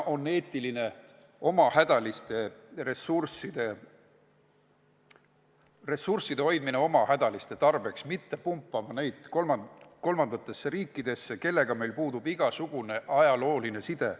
On eetiline hoida ressursse oma hädaliste tarbeks, mitte pumbata neid kolmandatesse riikidesse, kellega meil puudub igasugune ajalooline side.